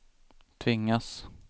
tvingas